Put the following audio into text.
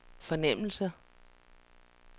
fornemmelse